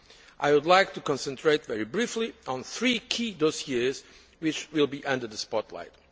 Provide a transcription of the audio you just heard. I would like to concentrate very briefly on three key dossiers which will be under the spotlight.